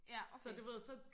ja okay